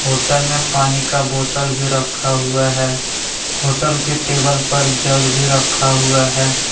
Hotel में पानी का बोतल भी रखा हुआ है होटल के टेबल पर जग भी रखा हुआ है।